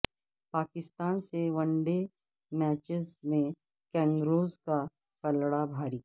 پاکستان سے one day matches میں kangaroos کا پلڑا بھاری